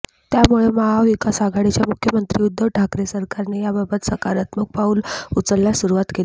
त्यामुळे महाविकास आघाडीच्या मुख्यमंत्री उद्धव ठाकरे सरकारने याबाबत सकारात्मक पाऊल उचलण्यास सुरुवात केली आहे